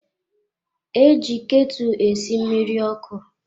E ji ketụ esi mmiri ọkụ.